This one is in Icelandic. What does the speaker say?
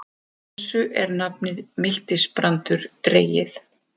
Af þessu er nafnið miltisbrandur dregið.